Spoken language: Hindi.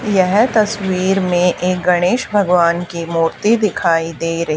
यह तस्वीर में एक गणेश भगवान की मूर्ति दिखाई दे रही--